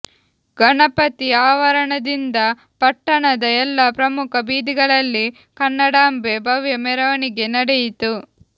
ಗಣಪತಿ ಆವರಣದಿಂದ ಪಟ್ಟಣದ ಎಲ್ಲಾ ಪ್ರಮುಖ ಬೀದಿಗಳಲ್ಲಿ ಕನ್ನಡಾಂಬೆ ಭವ್ಯ ಮೆರವಣಿಗೆ ನಡೆಯಿತು